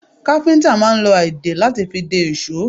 Káfíntà máa ń lo a ìdè lati fi dè ìṣó